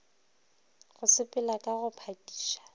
go sepela ka go phakiša